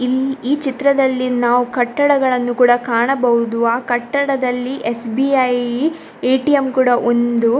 ಇಲ್ಲಿ ಈ ಚಿತ್ರದಲ್ಲಿ ನಾವು ಕಟ್ಟಡಗಳನ್ನು ಕೂಡ ಕಾಣಬಹುದು ಆ ಕಟ್ಟಡದಲ್ಲಿ ಎಸ್.ಬಿ.ಐ ಎ.ಟಿ.ಎಮ್‌ ಕೂಡಾ ಒಂದು.